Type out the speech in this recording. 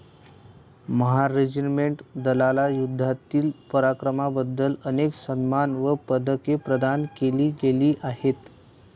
Mahar regiment दलाला युद्धातील पराक्रमाबद्दल अनेक सन्मान व पदके प्रदान केली गेली आहेत.